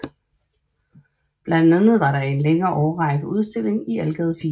Blandt andet var der i en længere årrække udstilling i Algade 4